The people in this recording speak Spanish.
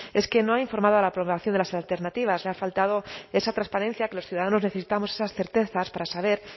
es que no ha informado a la población de las alternativas le ha faltado esa transparencia que los ciudadanos necesitamos esas certezas para saber